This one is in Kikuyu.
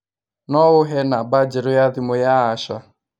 no ũhe namba njerũ ya thimũ ya ya Asha